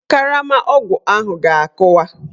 Karama ọgwụ ahụ ga-akụwa.